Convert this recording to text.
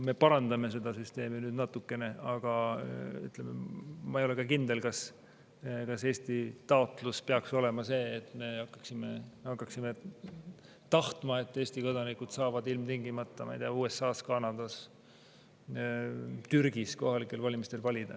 Me parandame seda süsteemi nüüd natukene, aga ma ei ole kindel, kas Eesti taotlus peaks olema see, et me hakkaksime tahtma, et Eesti kodanikud saavad ilmtingimata, ma ei tea, USA-s, Kanadas, Türgis kohalikel valimistel valida.